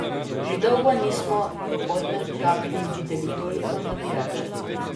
Že dolgo nismo v Podmežakli videli toliko navijačev.